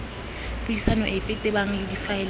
puisano epe tebang le difaele